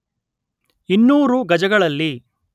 ಇನ್ನೂರು ಗಜಗಳಲ್ಲಿ